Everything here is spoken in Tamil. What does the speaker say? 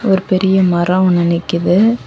ஒரு பெரிய மரம் ஒன்னு நிக்கிது.